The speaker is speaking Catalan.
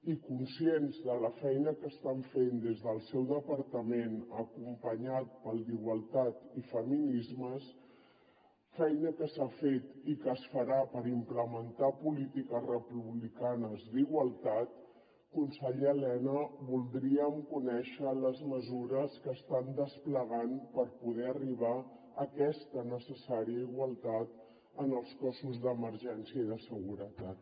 i conscients de la feina que estan fent des del seu departament acompanyat pel d’igualtat i feminismes feina que s’ha fet i que es farà per implementar polítiques republicanes d’igualtat conseller elena voldríem conèixer les mesures que estan desplegant per poder arribar a aquesta necessària igualtat en els cossos d’emergència i de seguretat